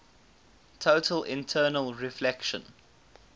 total internal reflection